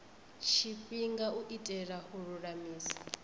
tshifhinga u itela u lulamisa